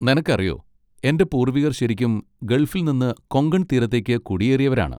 നിനക്കറിയോ, എൻ്റെ പൂർവികർ ശരിക്കും ഗൾഫിൽ നിന്ന് കൊങ്കൺ തീരത്തേക്ക് കുടിയേറിയവരാണ്.